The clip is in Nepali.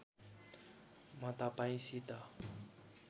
म तपाईँसित